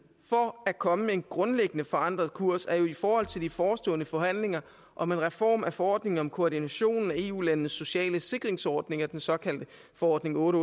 for at komme med en grundlæggende forandret kurs er i forhold til de forestående forhandlinger om en reform af forordningen om koordinationen af eu landenes sociale sikringsordninger den såkaldte forordning otte